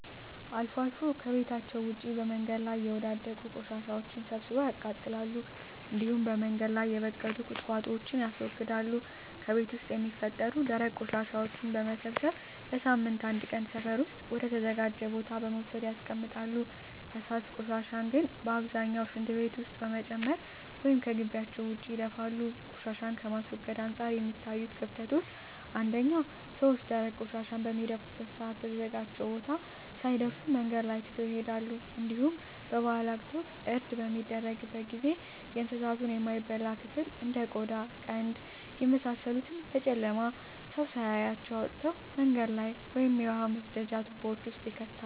አልፎ አልፎ ከቤታቸዉ ውጭ በመንገድ ላይ የወዳደቁ ቆሻሻወችን ሰብስበው ያቃጥላሉ እንዲሁም በመንገድ ላይ የበቀሉ ቁጥቋጦወችን ያስወግዳሉ። ከቤት ውስጥ የሚፈጠሩ ደረቅ ቆሻሻወችን በመሰብሰብ በሳምንት አንድ ቀን ሰፈር ውስጥ ወደ ተዘጋጀ ቦታ በመውሰድ ያስቀምጣሉ። ፈሳሽ ቆሻሻን ግን በአብዛኛው ሽንት ቤት ውስጥ በመጨመር ወይም ከጊቢያቸው ውጭ ይደፋሉ። ቆሻሻን ከማስወገድ አንፃር የሚታዩት ክፍተቶች አንደኛ ሰወች ደረቅ ቆሻሻን በሚደፉበት ሰአት በተዘጋጀው ቦታ ሳይደርሱ መንገድ ላይ ትተው ይሄዳሉ እንዲሁም በበአላት ወቅት እርድ በሚደረግበት ጊዜ የእንሳቱን የማይበላ ክፍል እንደ ቆዳ ቀንድ የመሳሰሉትን በጨለማ ሰው ሳያያቸው አውጥተው መንገድ ላይ ወይም የውሃ መስደጃ ትቦወች ውስጥ ይከታሉ።